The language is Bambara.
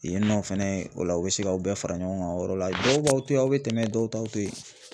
Yen nɔ fɛnɛ o la u be se k'aw bɛɛ fara ɲɔgɔn kan o yɔrɔ la. dɔw b'aw to ye aw be tɛmɛ dɔw t'aw to ye.